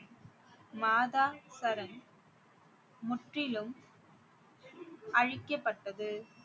மாதா சரண் முற்றிலும் அழிக்கப்பட்டது